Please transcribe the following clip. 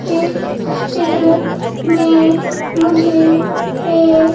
इस चित्र में मुझे एक--